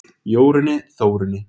Jórunni, Þórunni,